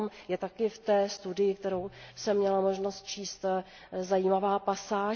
O tom je také v té studii, kterou jsem měla možnost číst, zajímavá pasáž.